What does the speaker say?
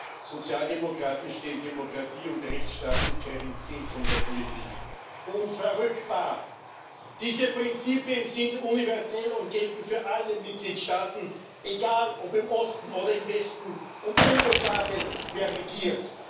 Für uns Sozialdemokraten stehen Demokratie und Rechtsstaatlichkeit im Zentrum der Politik unverrückbar! Diese Prinzipien sind universell und gelten für alle Mitgliedstaaten egal ob im Osten oder im Westen und unbeschadet dessen, wer regiert!